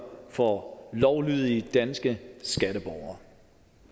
for lovlydige danske skatteborgere